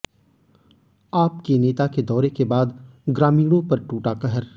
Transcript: आप की नेता के दौरे के बाद ग्रामीणों पर टूटा कहर